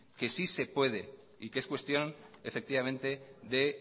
que sí se puede que es cuestión efectivamente de